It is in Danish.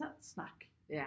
Snak